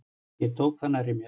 Ég tók það nærri mér.